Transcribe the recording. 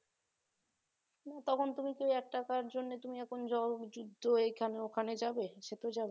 তখন তুমি তো এক টাকার জন্য তুমি এখন যুদ্ধ এখানে ওখানে যাবে? সেতো যাবে না